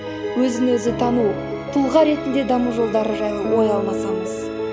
өзі өзі тану тұлға ретінде даму жолдары жайлы ой алмасамыз